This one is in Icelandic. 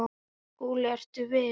SKÚLI: Ertu viss?